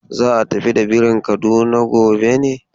Za a tafi da birin Kaduna gobe ne?